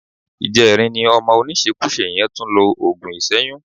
Ìjẹrin ni ọmọ oníṣekúṣe yẹn tún lo òògùn ìṣẹ́yún